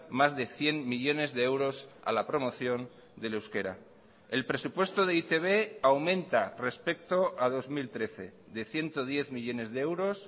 más de cien millónes de euros a la promoción del euskera el presupuesto de e i te be aumenta respecto a dos mil trece de ciento diez millónes de euros